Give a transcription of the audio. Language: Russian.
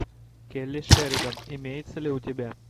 келли шеридан имеется ли у тебя